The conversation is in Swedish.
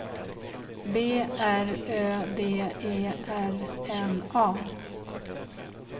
B R Ö D E R N A